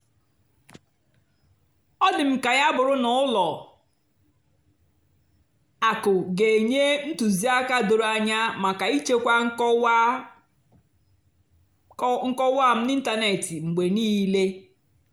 ọ́ dì́ m kà yá bụ́rụ́ nà ùlọ àkụ́ gà-ènyé ntùzìákà dòró ànyá màkà íchèkwá nkọ́wá m n'ị́ntánètị́ mgbe níìlé.